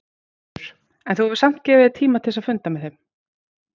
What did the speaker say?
Þulur: En þú hefur samt gefið þér tíma til að funda með þeim?